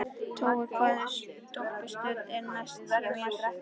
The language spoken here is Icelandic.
Tói, hvaða stoppistöð er næst mér?